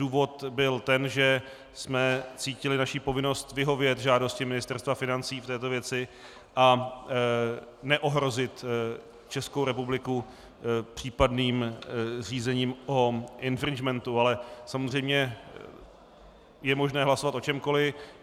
Důvod byl ten, že jsme cítili jako povinnost vyhovět žádosti Ministerstva financí v této věci a neohrozit Českou republiku případným řízením o infringementu, ale samozřejmě je možné hlasovat o čemkoli.